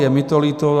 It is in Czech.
Je mi to líto.